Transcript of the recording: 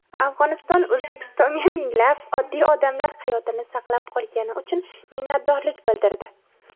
Afg‘oniston O‘zbekistonga minglab oddiy odamlar hayotini saqlab qolgani uchun minnatdorlik bildirdi.